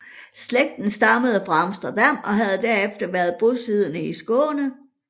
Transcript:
Slægten stammede fra Amsterdam og havde derefter været bosiddende i Skåne